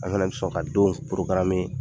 An kana sɔn ka don